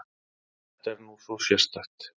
Þetta er nú svo sérstakt!